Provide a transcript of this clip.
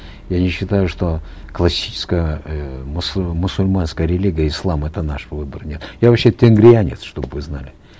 я не считаю что классическая эээ мусульманская религия ислам это наш выбор нет я вообще тенгрианец чтобы вы знали